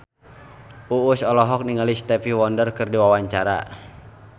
Uus olohok ningali Stevie Wonder keur diwawancara